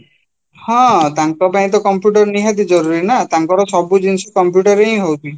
ହଁ, ତାଙ୍କ ପାଇଁ computer ନିହାତି ଜରୂରୀ ନା ତାଙ୍କର ସବୁ ଜିନିଷ computer ରେ ହଉଚି